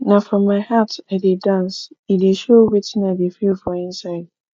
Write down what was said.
na from my heart i dey dance e dey show wetin i dey feel for inside